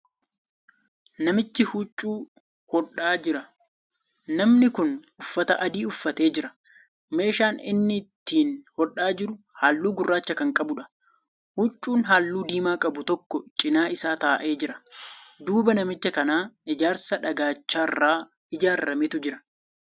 Namichi huccuu hodhaa Jira. namni Kuni uffata adii uffatee jira. meeshaan inni ittiin hodhaa jiru halluu gurraacha Kan qabuudha. huccuun halluu diimaa qabu tokko cinaa isaa taa'ee jira. duuba namicha kanaa ijaarsa dhagaacharraa ijaarametu jira